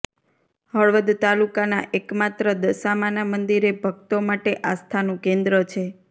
હળવદ તાલુકાના એકમાત્ર દશામાના મંદિરે ભકતો માટે આસ્થાનું કેન્દ્ર છે